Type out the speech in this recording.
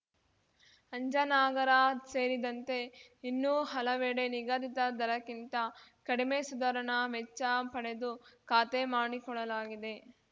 ಅಂಜನಾಗರ ಸೇರಿದಂತೆ ಇನ್ನೂ ಹಲವೆಡೆ ನಿಗದಿತ ದರಕ್ಕಿಂತ ಕಡಿಮೆ ಸುಧಾರಣಾ ವೆಚ್ಚ ಪಡೆದು ಖಾತೆ ಮಾಡಿಕೊಡಲಾಗಿದೆ